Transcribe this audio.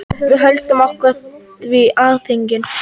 Við höldum okkur við Alþingi.